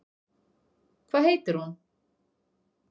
Hvað heitir hún?